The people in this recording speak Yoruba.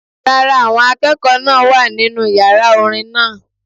Rárá, àwọn akẹ́kọ̀ọ́ náà wà nínu yàrá orin náà